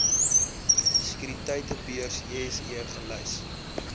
sekuriteitebeurs jse gelys